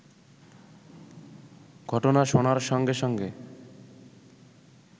ঘটনা শোনার সঙ্গে সঙ্গে